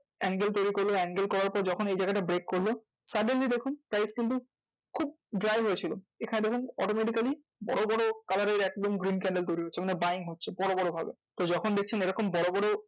Angle তৌরি করলো angle তৌরি করার পর যখন এই জায়গাটা break করলো suddenly দেখুন price কিন্তু খুব dry হয়েছিল। এখানে দেখুন automatically বড় বড় colour এর একদম green candle তৌরি হচ্ছে। মানে buying হচ্ছে বড় বড় ভাবে। তো যখন দেখছেন এরকম বড় বড় ভাবে